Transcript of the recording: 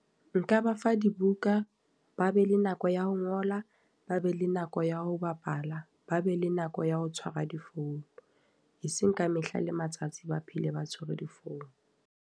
Nka ba fa dibuka, ba be le nako ya ho ngola, ba be le nako ya ho bapala, ba be le nako ya ho tshwara difounu. E seng ka mehla le matsatsi ba phele ba tshwere difounu.